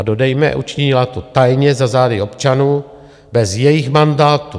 A dodejme, učinila to tajně, za zády občanů, bez jejich mandátu.